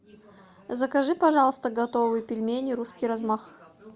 закажи пожалуйста готовые пельмени русский размах